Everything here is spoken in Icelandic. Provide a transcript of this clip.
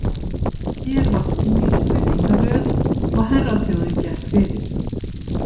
Hér var skýr virðingarröð og herraþjóðin gekk fyrir.